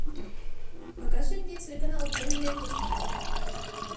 покажи мне телеканал голливуд на тв